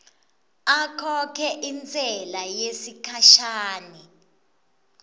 akhokhe intsela yesikhashana